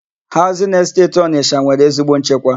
Haụzịn Esteti Ọnịsha nwere ezigbo nchekwa.